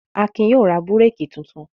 Akin yóò ra búrékì tuntun.